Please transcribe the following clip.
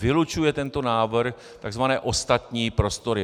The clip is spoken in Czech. Vylučuje tento návrh tzv. ostatní prostory.